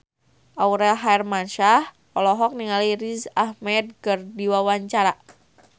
Aurel Hermansyah olohok ningali Riz Ahmed keur diwawancara